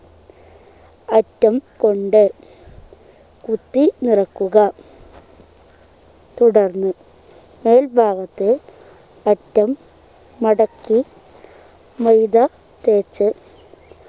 അറ്റം കൊണ്ട് കുത്തി നിറക്കുക തുടർന്ന് മോൾ ഭാഗത്തു അറ്റം മടക്കി മൈദ തേച്ച്‌